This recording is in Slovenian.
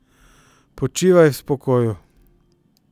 Počivaj v spokoju ...